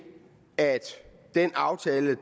at den aftale